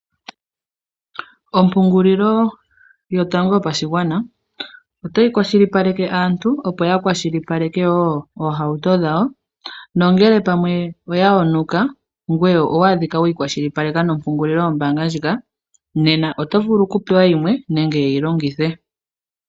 Ompungulilo yotango yopashigwana otayi kwashilipaleke aantu, opo yakwashilipaleke oohauto dhawo nongele pamwe oya yonuka ngweye owadhika weyi kwashilipaleke nombaanga ndjika nena oto vulu oku pewa yimwe nenge ye yilongithe.